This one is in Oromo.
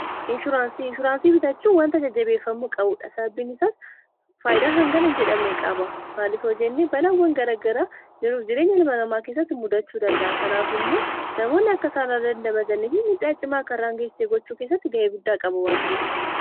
inshuuraansii bitachuu wani ajajabeeffammu qabuudha saabbiinisaas faaydaa hangana jedhamne qaaba maalif hojinni balawwan gara garaa jiruuf jireenya ilmanamaa kessatti muddachuu danda'a kanaaf immoo namoonni akka saanraa dandabadannifi midhaacimaa kanraangeessee gochuu kessatti ga'ee guddaa qaba wantaif